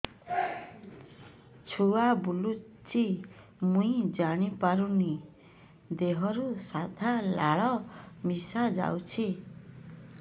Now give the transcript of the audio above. ଛୁଆ ବୁଲୁଚି ମୁଇ ଜାଣିପାରୁନି ଦେହରୁ ସାଧା ଲାଳ ମିଶା ଯାଉଚି